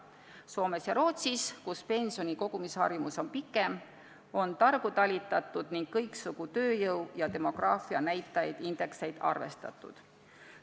Soomes ja Rootsis, kus pensionikogumise harjumus on pikaaegsem, on targu talitatud ning kõiksugu tööjõu- ja demograafianäitajaid, -indekseid arvestatud.